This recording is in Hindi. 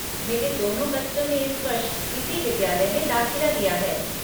मेरे दोनों बच्चों ने इस वर्ष इसी विद्यालय में दाखिला लिया है।